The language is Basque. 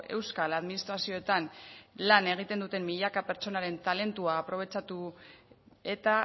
euskal administrazioetan lan egiten duten milaka pertsonaren talentua aprobetxatu eta